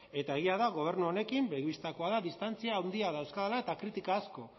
eta egia da gobernu honekin begi bistakoa da distantzia handia dauzkadala eta kritika asko